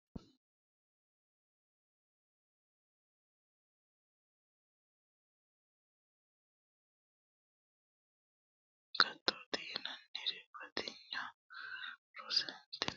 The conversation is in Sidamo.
Waayi agattowi bande di'lannanni agattoti yinanniri batinyu heera dandiittano wolootu kayinni hakkini roortino kaajjado giddo girtano agatto heedhano daafira doodhine horonsira hasiisano.